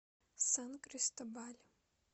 сан кристобаль